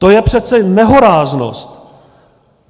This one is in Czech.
To je přece nehoráznost!